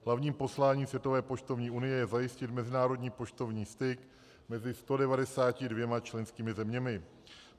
Hlavním posláním Světové poštovní unie je zajistit mezinárodní poštovní styk mezi 192 členskými zeměmi.